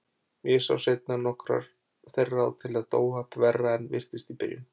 Ég sá seinna nokkrar þeirra og tel þetta óhapp verra en virtist í byrjun.